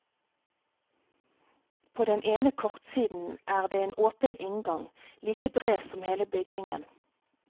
På den ene kortsiden er det en åpen inngang, like bred som hele bygningen.